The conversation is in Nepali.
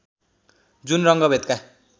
जुन रङ्गभेदका